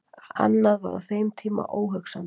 annað var á þeim tíma óhugsandi